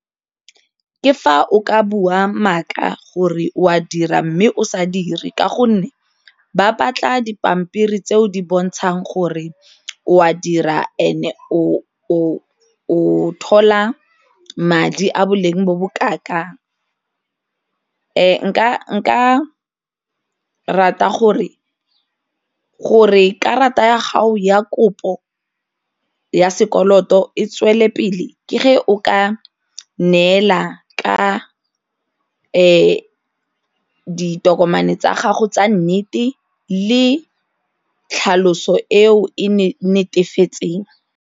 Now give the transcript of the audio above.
Ke fa o ka bua maaka gore o a dira mme o sa dire ka gonne ba batla dipampiri tse o di bontshang gore o a dira and-e o thola madi a boleng bo bo kaa-kang nka rata gore, gore karata ya gago ya kopo ya sekoloto e tswele pele ke o ka neela ka ditokomane tsa gago tsa nnete le tlhaloso e o e ne e netefetseng.